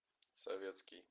советский